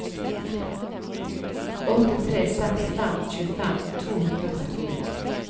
åtte tre seks fem tjuefem to hundre og trettien